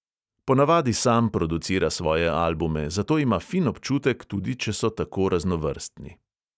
Ponavadi sam producira svoje albume, za to ima fin občutek, tudi če so tako raznovrstni.